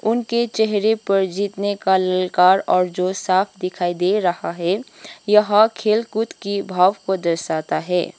उनके चेहरे पर जितने का ललकार और जो साफ दिखाई दे रहा है यह खेलकूद की भाव को दर्शाता है।